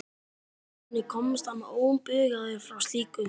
Hvernig komst hann óbugaður frá slíku?